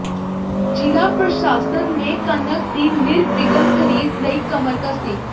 ਜ਼ਿਲ੍ਹਾ ਪ੍ਰਸ਼ਾਸਨ ਨੇ ਕਣਕ ਦੀ ਨਿਰਵਿਘਨ ਖਰੀਦ ਲਈ ਕਮਰ ਕੱਸੀ